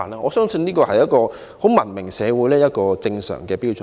我相信這是一個文明社會的正常標準。